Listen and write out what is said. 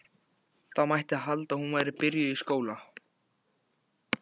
Það mætti halda að hún væri byrjuð í skóla.